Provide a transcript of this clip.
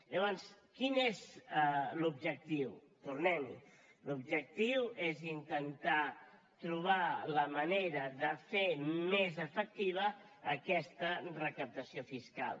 llavors quin és l’objectiu tornem hi l’objectiu és intentar trobar la manera de fer més efectiva aquesta recaptació fiscal